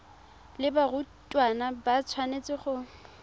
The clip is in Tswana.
le barutwana ba tshwanetse go